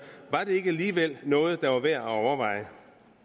var det alligevel noget der var værd at overveje